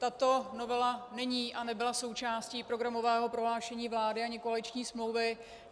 Tato novela není a nebyla součástí programového prohlášení vlády ani koaliční smlouvy.